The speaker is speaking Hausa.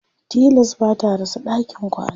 tilas bata rasa ɗakin kwana